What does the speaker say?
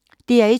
DR1